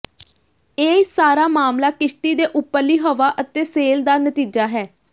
ਇਹ ਸਾਰਾ ਮਾਮਲਾ ਕਿਸ਼ਤੀ ਦੇ ਉੱਪਰਲੀ ਹਵਾ ਅਤੇ ਸੇਲ ਦਾ ਨਤੀਜਾ ਹੈ